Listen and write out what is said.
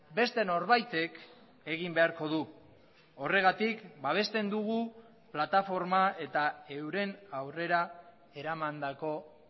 beste norbaitek egin beharko du horregatik babesten dugu plataforma eta euren aurrera eramandako